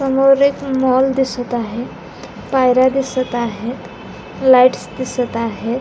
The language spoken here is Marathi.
वर एक मॉल दिसत आहे पायऱ्या दिसत आहेत लाइटस दिसत आहेत.